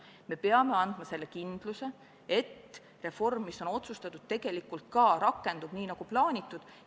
Me peame andma selle kindluse, et reform, mis on otsustatud, tegelikult ka rakendub nii, nagu plaanitud.